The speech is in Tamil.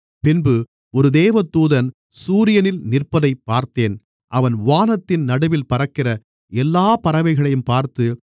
பின்பு ஒரு தேவதூதன் சூரியனில் நிற்பதைப் பார்த்தேன் அவன் வானத்தின் நடுவில் பறக்கிற எல்லாப் பறவைகளையும் பார்த்து